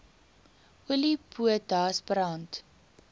olie potas brand